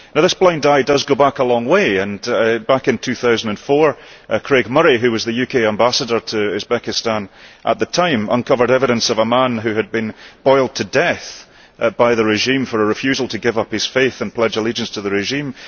Now this blind eye does go back a long way, and back in 2004 Craig Murray, who was the UK Ambassador to Uzbekistan at the time, uncovered evidence of a man who had been boiled to death by the regime for a refusal to give up his faith and pledge allegiance to the regime.